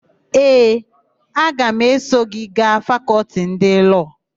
Ee, aga m eso gị gaa Fakọltị ndị Lọọ.